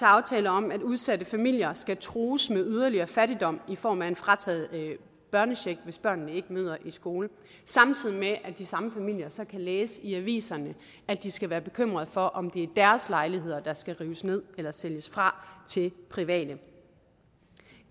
aftale om at udsatte familier skal trues med yderligere fattigdom i form af en frataget børnecheck hvis børnene ikke møder i skole samtidig med at de samme familier så kan læse i aviserne at de skal være bekymrede for om det er deres lejligheder der skal rives ned eller sælges fra til private